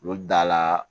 U bɛ da la